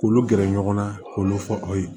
K'olu gɛrɛ ɲɔgɔn na k'olu fɔ aw ye